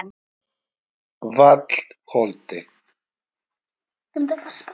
Vallholti